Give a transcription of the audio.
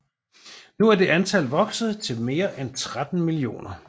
Nu er det antal vokset til mere end 13 millioner